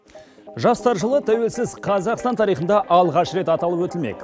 жастар жылы тәуелсіз қазақстан тарихында алғаш рет аталып өтілмек